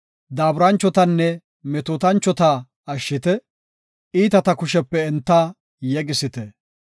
Daaburanchotanne metootanchota ashshite; iitata kushepe enta yegisite.